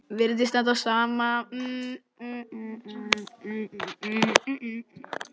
Virðist standa á sama.